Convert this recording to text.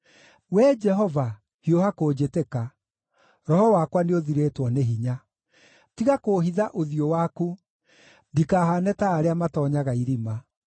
Wee Jehova, hiũha kũnjĩtĩka; roho wakwa nĩũthirĩtwo nĩ hinya. Tiga kũũhitha ũthiũ waku, ndikahaane ta arĩa matoonyaga irima.